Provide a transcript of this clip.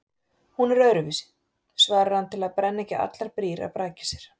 Hún er öðruvísi, svarar hann til að brenna ekki allar brýr að baki sér.